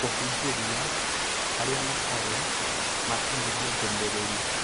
Kũhũnjĩria arĩa matarĩ maakinyĩrwo ndũmĩrĩr